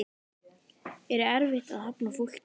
Er erfitt að hafna fólki?